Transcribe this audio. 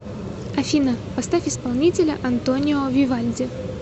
афина поставь исполнителя антонио вивальди